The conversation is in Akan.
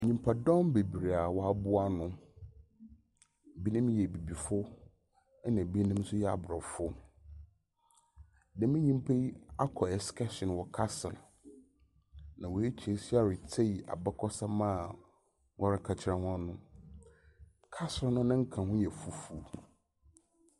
Nnipadɔm bebree a wɔaboa ano. Ebinom yɛ Abibifo na ebinom nso yɛ Abrɔfo. Dɛm nyipa yi akɔ eskɛɛhyin wɔ castle. Na watu nsa retie abakɔsɛm a wɔreka kyerɛ wɔn no. Castle no ne nka ho no yɛ fufuw.